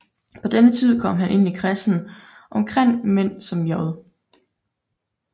På denne tid kom han ind i kredsen omkring mænd som J